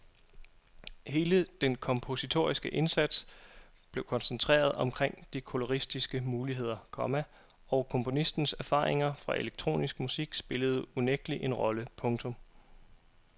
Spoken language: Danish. Hele den kompositoriske indsats blev koncentreret omkring de koloristiske muligheder, komma og komponistens erfaringer fra elektronisk musik spillede unægtelig en rolle. punktum